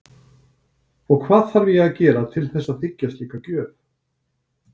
Og hvað þarf ég að gera til þess að þiggja slíka gjöf?